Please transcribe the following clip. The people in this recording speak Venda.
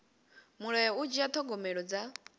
mulayo u dzhia thogomelo dza